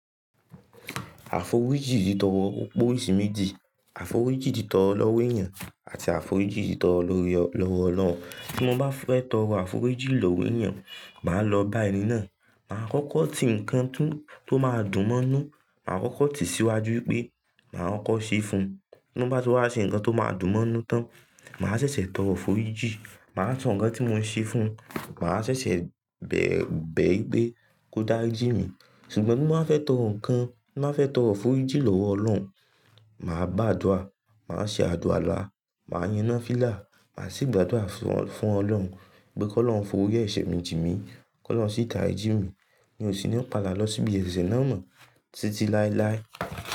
Àforíjì tì tọ̀rọ̀ opé oríṣi méjì, àforíjì tì tọ̀rọ̀ lọ́wọ́ èèyàn àti àforíjì tì tọ̀rọ̀ lọ́wọ́ Ọlọ́run. Tí mo bá fẹ́ tọrọ àforíjì lọ́wọ́ èèyàn, màá lọ bá ẹni náà, màá kọ́kọ́ ti nǹkan tó máa dùn mọ́nú, màá kọ́kọ́ tì síwájú pé màá kọ ṣé fún un. Nígbà tí wọ́n bá ṣe nǹkan tó máa dùn mọ́nú tán, màá ṣẹ̀ṣẹ̀ tọrọ forijí, màá sọ nǹkan tí mo ń ṣe fún un, màá ṣẹ̀ṣẹ̀ bẹ̀rẹ̀ pé kó dáa rijí mi. Ṣùgbọ́n bí mo bá fẹ́ tọrọ nǹkan, bí mo bá fẹ́ tọrọ àforíjì lọ́wọ́ Ọlọ́run, màá gbá àdúrà, màá ṣe àluwàlá, màá yaná fìlà, màá sì gbàdúrà fún fún Ọlọ́run pé kó lọrun f'ọri ẹ̀sẹ̀ mi jì mí, kó ọlọrun sì tàri jí mi. Mi ò sì ní padà lọ síbi ẹsẹ náà mọ́ títí láéláé.